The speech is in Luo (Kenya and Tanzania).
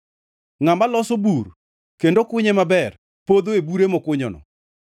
Ngʼama loso bur kendo kunye maber podho e bure mokunyono.